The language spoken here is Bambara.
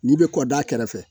N'i bɛ kɔda kɛrɛfɛ